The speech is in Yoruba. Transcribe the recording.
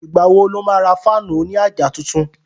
Ìgbà wo lo má ra fáànù òní àjà tuntun?